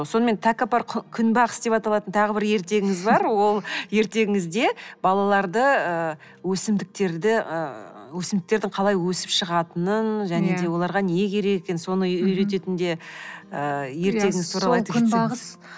сонымен тәкаппар күнбағыс деп аталатын тағы бір ертегіңіз бар ол ертегіңізде балаларды ыыы өсімдіктерді ыыы өсімдіктердің қалай өсіп шығатынын және де оларға не керек екенін соны үйрететін де ы ертегі туралы